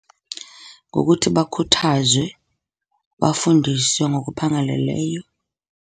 Ngokuthi bakhuthazwe bafundiswe ngokuphangaleleyo.